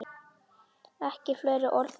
Ekki fleiri orð um það!